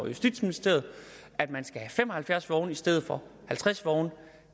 justitsministeriet at man skal have fem og halvfjerds vogne i stedet for halvtreds vogne